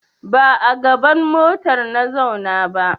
Ba a gaban motar na zauna ba.